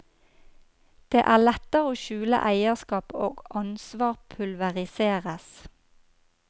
Det er lettere å skjule eierskap, og ansvar pulveriseres.